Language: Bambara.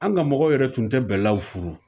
An ka mɔgɔw yɛrɛ tun tɛ bɛlaw furu